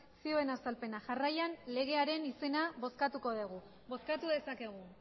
zioen azalpena jarraian legearen izena bozkatuko dugu bozkatu dezakegu